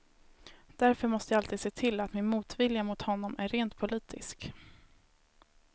Därför måste jag alltid se till att min motvilja mot honom är rent politisk.